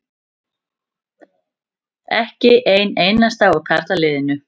Ekki einn einasta úr karlaliðinu.